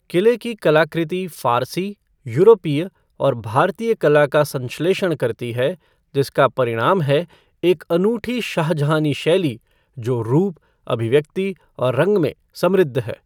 किले की कलाकृति फ़ारसी, यूरोपीय और भारतीय कला का संश्लेषण करती है, जिसका परिणाम है एक अनूठी शाहजहानी शैली, जो रूप, अभिव्यक्ति और रंग में समृद्ध है।